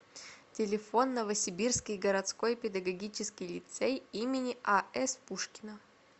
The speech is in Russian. телефон новосибирский городской педагогический лицей им ас пушкина